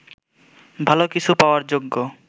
ভালো কিছু পাওয়ার যোগ্য